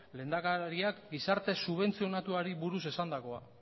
lehendakariak gizarte subentzionatuari buruz esandakoa